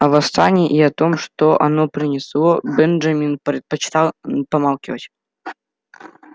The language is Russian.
о восстании и о том что оно принесло бенджамин предпочитал помалкивать